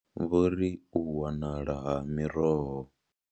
Vho ri u wanala ha miroho.